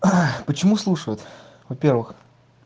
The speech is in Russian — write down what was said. ах почему слушают во-первых